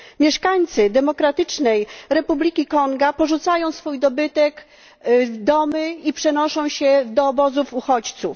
Mieszkańcy Demokratycznej Republiki Konga porzucają swój dobytek, domy, i przenoszą się do obozów uchodźców.